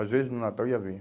Às vezes no Natal ia ver.